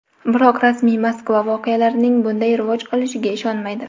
biroq rasmiy Moskva voqealarning bunday rivoj olishiga ishonmaydi.